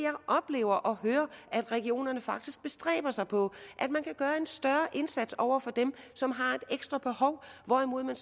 oplever og hører at regionerne faktisk bestræber sig på at man kan gøre en større indsats over for dem som har et ekstra behov hvorimod man